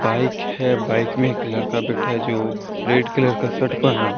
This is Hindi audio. बाइक है। बाइक में एक लड़का बैठा है। जो रेड कलर का शर्ट पहना।